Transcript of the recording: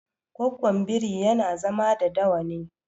Gwaggon biri yana zama da dawa ne